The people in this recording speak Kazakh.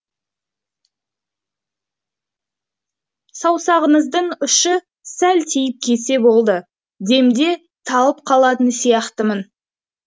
саусағыңыздың ұшы сәл тиіп кетсе болды демде талып қалатын сияқтымын